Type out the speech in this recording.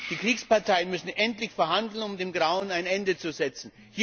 Die Kriegsparteien müssen endlich verhandeln, um dem Grauen ein Ende zu setzen.